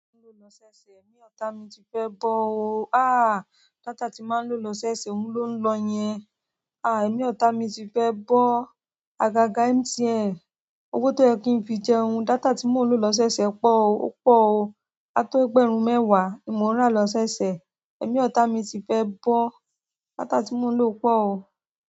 Lọ ṣẹ́ṣẹ, èmi ọ̀ta mi ti fẹ́ bọ́ o. Há! Data tí n máa ń lo lọṣooṣẹ, òun ló ń lọ yẹn. Há! Èmi ọ̀ta mi ti fẹ́ bọ́. Àgàgà MTN, owó tó yẹ kí n fi jẹun, data tí mò ń lo lọṣooṣẹ pọ̀ o, ó pọ̀ o. A tó ẹgbẹ̀rún mẹ́wàá ni mò ń rà lọ ṣẹ́ṣẹ. Èmi ọ̀ta mi ti fẹ́ bọ́. Data tí mò ń lo pọ̀ o.